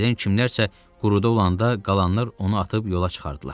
Birdən kimlərsə quruda olanda qalanlar onu atıb yola çıxardılar.